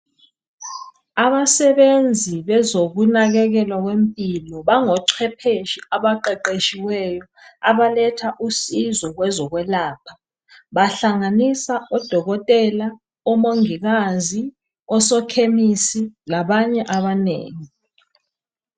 Abasebenzi bezokunakekelwa kwempilo bango chwephetshe abaqeqetshiweyo abaletha usizo kwezokwelapha .Bahlanganisa odokotela, omongikazi ,osokhemisi labanye abanengi .